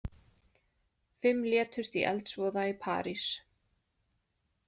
Fimm létust í eldsvoða í París